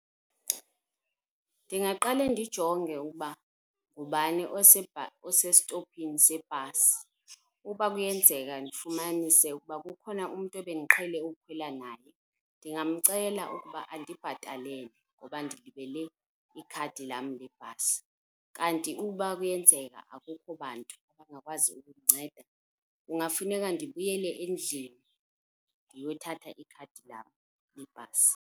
Ndingaqale ndijonge ukuba ngubani osestophini sebhasi. Uba kuyenzeka ndifumnaise ukuba kukhona umntu ebendiqhele ukukhwela naye ndingamcela ukuba andibhatalele kuba ndilibele ikhadi lam lebhasi. Kanti ukuba kuyenzeka akukho bantu abangakwazi ukundinceda kungafuneka ndibuyele endlini ndiyothatha ikhadi lam lebhasi.